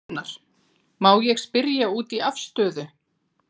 Gunnar: Má ég spyrja út í afstöðu?